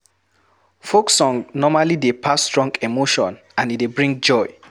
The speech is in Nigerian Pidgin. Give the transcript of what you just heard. Folk song normally dey pass strong emotion and e dey bring joy